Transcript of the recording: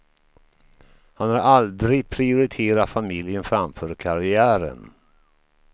Han har aldrig prioriterat familjen framför karriären.